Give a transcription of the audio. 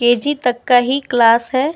KG तक का ही क्लास है।